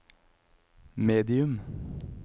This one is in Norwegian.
medium